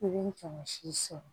I bɛ cɛmansi sɔrɔ